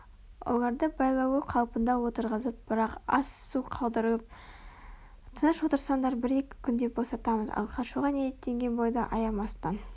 оларды байлаулы қалпында отырғызып бірақ ас-су қалдырылып тыныш отырсаңдар бір-екі күнде босатамыз ал қашуға ниеттенген бойда аямастан